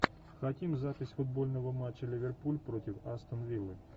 хотим запись футбольного матча ливерпуль против астон виллы